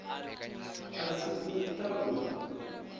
a si u ta wa